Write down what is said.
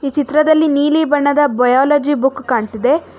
ಈ ಚಿತ್ರದಲ್ಲಿ ನೀಲಿ ಬಣ್ಣದ ಬಯಲಜಿ ಬುಕ್ ಕಾಣ್ತಿದೆ.